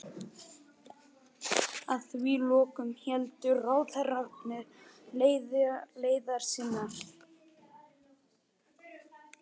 Að því loknu héldu ráðherrarnir leiðar sinnar.